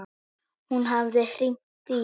Hún hafði hringt í